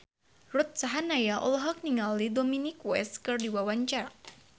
Ruth Sahanaya olohok ningali Dominic West keur diwawancara